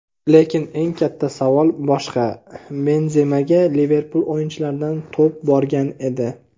Lekin eng katta savol boshqa: Benzemaga Liverpul o‘yinchilaridan to‘p borgan edi.